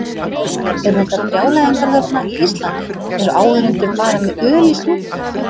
Eru þetta brjálæðingar þarna í Eistlandi, eru áhorfendur bara með öl í stúkunni?